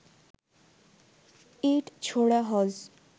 ইট ছোড়া হয